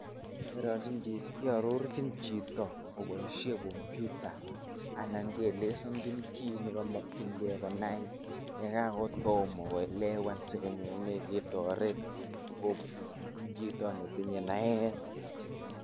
iarorchi chito koboisyen komputa, anan kielezanchin kit nekimakyinken konai yekangotomo koelewan sikonyone ketoret kobun chito netinye naet eng...